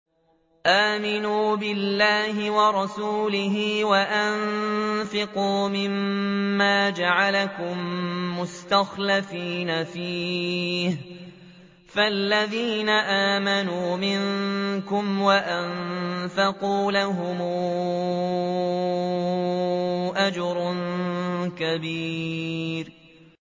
آمِنُوا بِاللَّهِ وَرَسُولِهِ وَأَنفِقُوا مِمَّا جَعَلَكُم مُّسْتَخْلَفِينَ فِيهِ ۖ فَالَّذِينَ آمَنُوا مِنكُمْ وَأَنفَقُوا لَهُمْ أَجْرٌ كَبِيرٌ